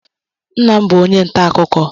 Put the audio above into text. Nna m bụ onye ntáakụkọ.